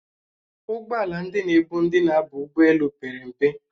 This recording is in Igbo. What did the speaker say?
Ụgbọala ndị na-ebu ndi na-aba ụgbọelu pere mpe